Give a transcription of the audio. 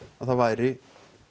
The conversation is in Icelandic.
að það væri